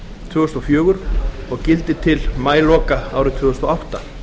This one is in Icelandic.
tvö þúsund og fjögur og gildir til maíloka árið tvö þúsund og átta